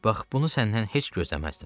Bax bunu səndən heç gözləməzdim.